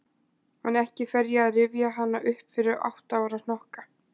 En ekki fer ég að rifja hana upp fyrir átta ára hnokka.